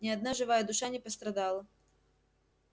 ни одна живая душа не пострадала